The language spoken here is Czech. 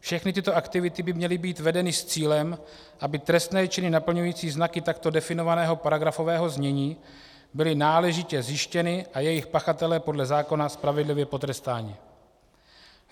Všechny tyto aktivity by měly být vedeny s cílem, aby trestné činy naplňující znaky takto definovaného paragrafového znění byly náležitě zjištěny a jejich pachatelé podle zákona spravedlivě potrestáni.